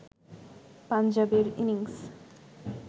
পাঞ্জাবের ইনিংস